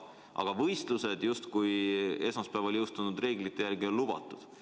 Aga võistlused on esmaspäeval jõustunud reeglite järgi justkui on lubatud.